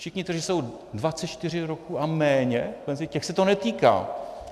Všichni, kteří jsou 24 roků a méně penzisty, těch se to netýká.